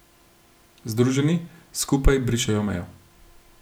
Združeni, skupaj brišejo mejo.